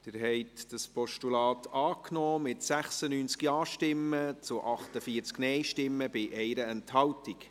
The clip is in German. Sie haben dieses Postulat angenommen, mit 96 Ja- zu 48 Nein-Stimmen bei 1 Enthaltung.